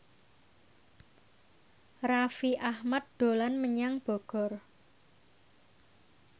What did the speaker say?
Raffi Ahmad dolan menyang Bogor